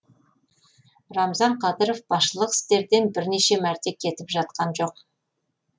рамзан қадыров басшылық істерден бірінші мәрте кетіп жатқан жоқ